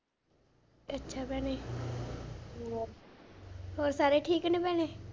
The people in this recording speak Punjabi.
ਅੱਛਾ ਭੈਣੇ ਹੋਰ ਸਾਰੇ ਠੀਕ ਨੇ ਭੈਣੇ?